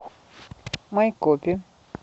майкопе